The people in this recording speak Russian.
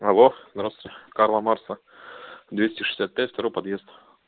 алло здравстуйте карла маркса двести шестьдесят пять второй подъезд